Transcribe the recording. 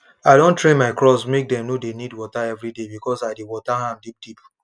i don train my crops make dem no dey need water everyday because i dey water am deep deep